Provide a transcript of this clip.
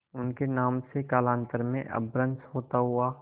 उनके नाम से कालांतर में अपभ्रंश होता हुआ